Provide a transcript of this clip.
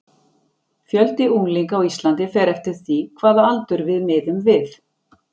Fjöldi unglinga á Íslandi fer eftir því hvaða aldur við miðum við.